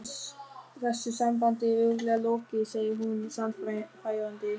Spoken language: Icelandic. Þessu sambandi er örugglega lokið, segir hún sannfærandi.